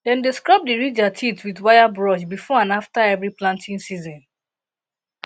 dem dey scrub di ridger teeth with with wire brush before and after every planting season